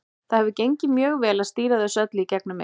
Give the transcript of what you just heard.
Það hefur gengið mjög vel að stýra þessu öllu í gegnum mig.